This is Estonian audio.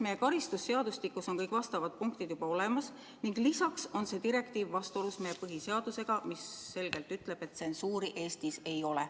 Meie karistusseadustikus on vastavad punktid juba olemas ning lisaks on see direktiiv vastuolus meie põhiseadusega, mis ütleb selgelt, et tsensuuri Eestis ei ole.